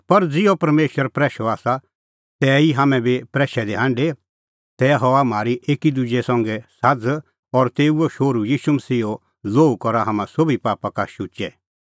पर ज़िहअ परमेशर प्रैशअ आसा ज़ै तिहै ई हाम्हैं बी प्रैशै दी हांढे तै हआ म्हारी एकी दुजै संघै साझ़ और तेऊए शोहरू मसीहा ईशूओ लोहू करा हाम्हां सोभी पापा का शुचै